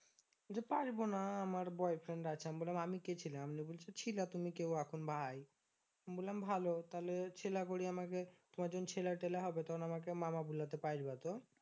বলছে পারবোনা আমার boyfriend আছে। নিয়ে আমি বললাম আমি কে ছিলাম নিয়ে বলছে ছিলা তুমি কেউ এখন ভাই আমি বললাম ভালো তাহলে ছেলে করে আমাকে তোমার যখন ছেলে তেলা হবে তখন আমাকে মামা বোলাতে পারবে তো